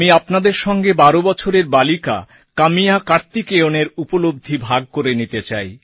আমি আপনাদের সঙ্গে ১২ বছরের বালিকা কাম্যা কার্তিকেয়নএর উপলব্ধি ভাগ করে নিতে চাই